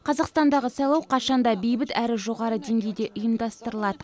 қазақстандағы сайлау қашан да бейбіт әрі жоғары деңгейде ұйымдастырылады